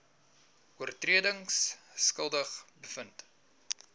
oortredings skuldig bevind